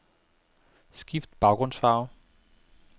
Skift baggrundsfarve.